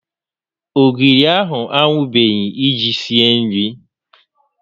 Ogiri a anwụbeghị iji sie nri